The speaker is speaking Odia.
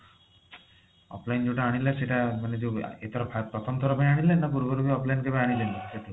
offline ରୁ ଯୋଊଟା ଆଣିଲେ ମାନେ ଯୋଉ ସେଇଟା ଏଥର ପ୍ରଥମ ଥର ପାଇଁ ଆଣିଲେ ନ ପୂର୍ବରୁ ବି offline ରୁ ଆଣିଥିଲେ